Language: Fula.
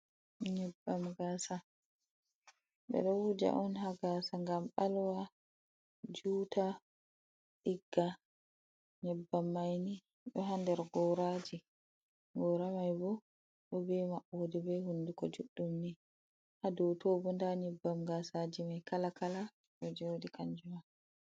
Nyebbam gaasa, ɓe ɗo wuja on haa gaasa, ngam ɓalwa, juuta, ɗigga, nyebbam may ni ɗo haa nder gooraaji. Goora may bo, ɗo be maɓɓode be hunnduko juɗɗum ni, haa dow to bo, ndaa nyebbam gaasaaji may kala kala, ɗo jooɗi kanjuma.